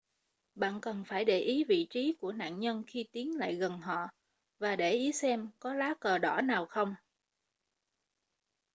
bạn cần phải để ý vị trí của nạn nhân khi tiến lại gần họ và để ý xem có lá cờ đỏ nào không